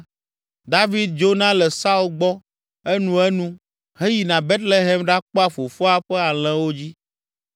David dzona le Saul gbɔ enuenu heyina Betlehem ɖakpɔa fofoa ƒe alẽwo dzi.